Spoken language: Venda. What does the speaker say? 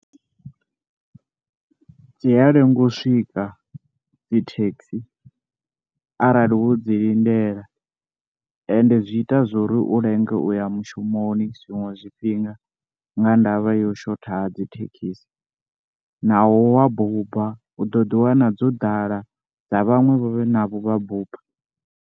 Dzi a lenga u swika dzithekhi arali wo dzi lindela ende zwi ita zwo ri u lenge uya mushumoni zwiṅwe zwifhinga nga ndavha ya u shotha ha dzithekhisi naho wa buba u ḓo ḓi wana dzo ḓala nga vhaṅwevho vhe navho vha buba.